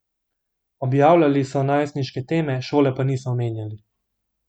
Objavljali so najstniške teme, šole pa niso omenjali.